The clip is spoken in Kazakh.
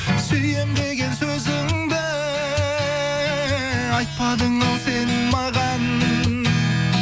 сүйемін деген сөзіңді айтпадың ау сен маған